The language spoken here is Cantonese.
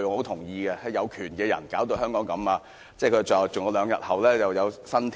他說，是有權的人把香港弄成這樣，並說兩天後就有新天。